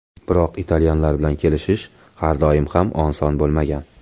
Biroq italyanlar bilan kelishish har doim ham oson bo‘lmagan.